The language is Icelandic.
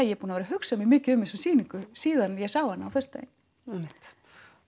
ég er búin að hugsa mikið um þessa sýningu síðan ég sá hana á föstudaginn einmitt